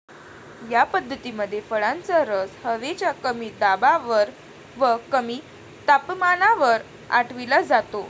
या पद्धतीमध्ये फळांचा रस हवेच्या कमी दाबावर व कमी तापमानावर आटविला जातो.